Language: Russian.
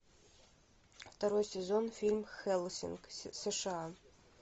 второй сезон фильм хеллсинг сша